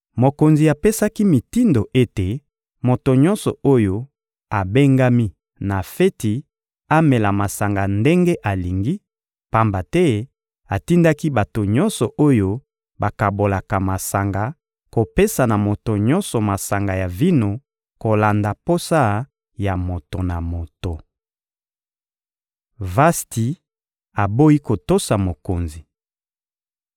Mokonzi apesaki mitindo ete moto nyonso oyo abengami na feti amela masanga ndenge alingi, pamba te atindaki bato nyonso oyo bakabolaka masanga kopesa na moto nyonso masanga ya vino kolanda posa ya moto na moto. Vasti aboyi kotosa mokonzi